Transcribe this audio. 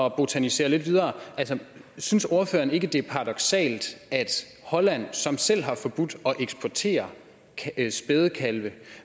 at botanisere lidt videre synes ordføreren ikke at det er paradoksalt at holland selv har forbudt at eksportere spædekalve